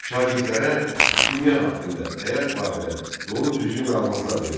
Şagirdlərə dünya haqqında, həyat barədə doğru-düzgün məlumatlar verilirdi.